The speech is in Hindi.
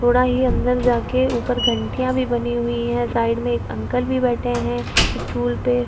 थोड़ा ये अंदर जा के ऊपर घंटिया भी बनी हुई है साइड में एक अंकल भी बैठे है स्टूल पे।